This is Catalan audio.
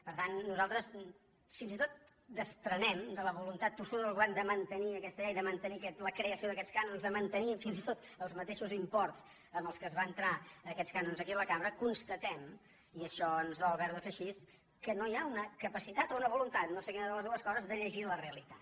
per tant nosaltres fins i tot desprenem de la voluntat tossuda del govern de mantenir aquesta llei de man·tenir la creació d’aquests cànons de mantenir fins i tot els mateixos imports amb els quals es van entrar aquests cànons aquí a la cambra constatem i això ens dol ha·ver·ho de fer així que no hi ha una capacitat o una voluntat no sé quina de les dues coses de llegir la realitat